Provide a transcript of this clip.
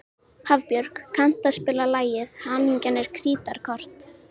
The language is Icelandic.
Hafbjörg, kanntu að spila lagið „Hamingjan er krítarkort“?